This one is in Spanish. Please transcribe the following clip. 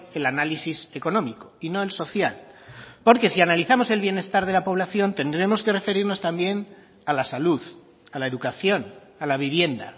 el análisis económico y no el social porque si analizamos el bienestar de la población tendremos que referirnos también a la salud a la educación a la vivienda